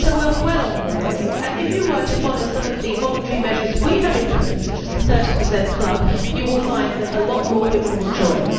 So we are well on the way, and if you were to follow some of the voluntary measures we have imposed such as the 30 club you would find that a lot more women would join.